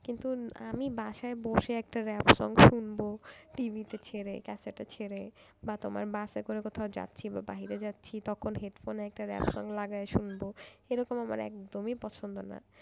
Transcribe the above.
কিন্তু আমি বাসায় বসে একটা rap song শুনবো, TV তে ছেড়ে cassette এ ছেড়ে বাস করে কোথাও যাচ্ছি বা বাহিরে যাচ্ছি। তখন headphone একটা rap song লাগাই শুনবো। এরকম আমার একদমই পছন্দ নয়।